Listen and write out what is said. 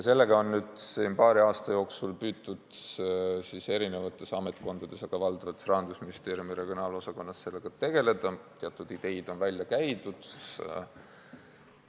Sellega on nüüd paari aasta jooksul püütud eri ametkondades, valdavalt Rahandusministeeriumi regionaalarengu osakonnas tegeleda, teatud ideid on välja käidud.